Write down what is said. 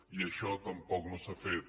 i això tampoc no s’ha fet